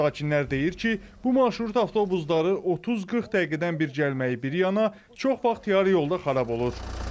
Sakinlər deyir ki, bu marşrut avtobusları 30-40 dəqiqədən bir gəlməyi bir yana, çox vaxt yarı yolda xarab olur.